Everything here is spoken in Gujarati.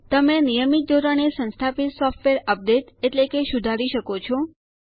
તમે નિયમિત ધોરણે સંસ્થાપિત સોફ્ટવેર અપડેટ એટલે કે સુધારી પણ શકો છો